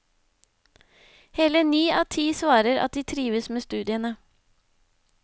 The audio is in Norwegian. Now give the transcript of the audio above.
Hele ni av ti svarer at de trives med studiene.